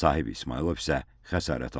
Sahib İsmayılov isə xəsarət alıb.